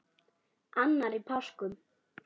annar í páskum